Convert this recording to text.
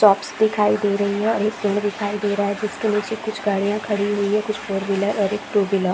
Shops दिखाई दे रही है और एक पेड़ दिखाई दे रहा है जिसके निचे कुछ गाड़िया खड़ी हुई है कुछ फॉर व्हीलर और एक टू व्हीलर ।